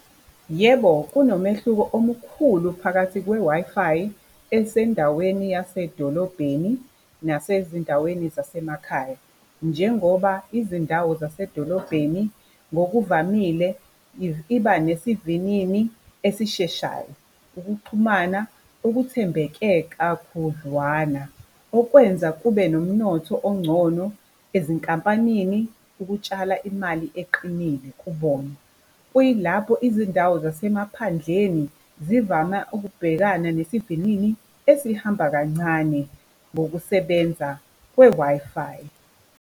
Yebo, kunomehluko omkhulu phakathi kwe-Wi-Fi esendaweni yasedolobheni nasezindaweni zasemakhaya, njengoba izindawo zasedolobheni ngokuvamile iba nesivinini esisheshayo. Ukuxhumana ukuthembeke kakhudlwana okwenza kube nomnotho ongcono ezinkampanini ukutshala imali eqinile kubona. Kuyilapho izindawo zasemaphandleni zivame ukubhekana nesivinini esihamba kancane ngokusebenza kwe-Wi-Fi.